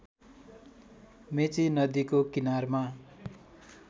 मेची नदीको किनारमा